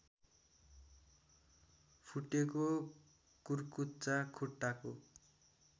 फुटेको कुर्कुच्चा खुट्टाको